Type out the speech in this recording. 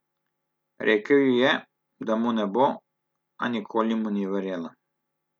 Rekel ji je, da mu ne bo, a nikoli mu ni verjela.